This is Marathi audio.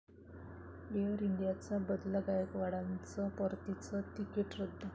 एअर इंडियाचा बदला, गायकवाडांचं परतीचं तिकीट रद्द